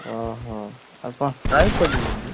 ଓହୋ, ଆଉ କଣ strike କରିଦେଇଛନ୍ତି?